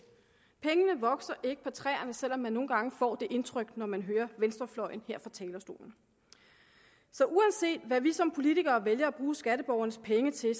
pengene vokser ikke på træerne selv om man nogle gange får det indtryk når man hører venstrefløjen her fra talerstolen så uanset hvad vi som politikere vælger at bruge skatteborgernes penge til